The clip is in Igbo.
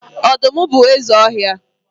Ọdụm bụ eze ọhịa.